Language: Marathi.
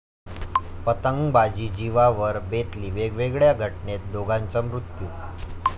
पतंगबाजी जिवावर बेतली, वेगवेगळ्या घटनेत दोघांचा मृत्यू